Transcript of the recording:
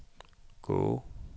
gå